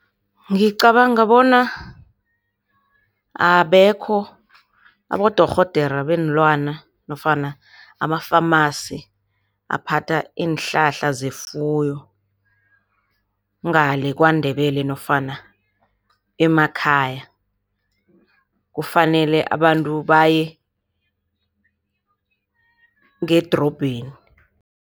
Ngicabanga bona abekho abodorhodera beenlwana nofana ama-phamarcy aphatha iinhlahla zefuyo ngale KwaNdebele nofana emakhaya. Kufanele abantu baye ngedorobheni.